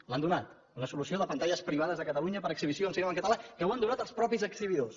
l’han donat una solució de pantalles privades de catalunya per a exhibició de cinema amb català que l’han donat els mateixos exhibidors